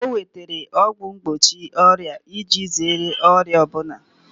O nwetara ọgwụ mgbochi ọrịa iji zere ọrịa ọ bụla